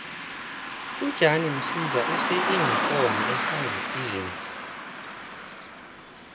ujan msiza use iinkomo efandisini